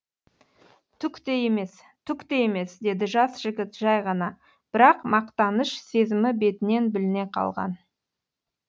түк те емес түк те емес деді жас жігіт жай ғана бірақ мақтаныш сезімі бетінен біліне қалған